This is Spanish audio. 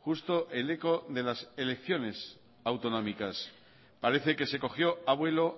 justo el eco de las elecciones autonómicas parece que se cogió a vuelo